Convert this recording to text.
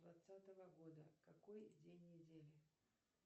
двадцатого года какой день недели